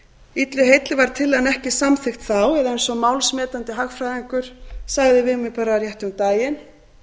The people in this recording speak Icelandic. illu heilli var tillagan ekki samþykkt þá eða eins og málsmetandi hagfræðingur sagði við mig bara rétt um daginn